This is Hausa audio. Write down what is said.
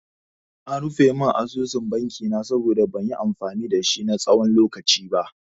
An rufe mun asusun banki na saboda ban yi amfani dashi na tsawon lokaci ba.